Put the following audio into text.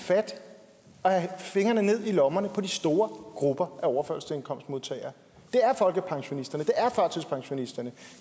fingrene ned i lommerne på de store grupper af overførselsindkomstmodtagere det er folkepensionisterne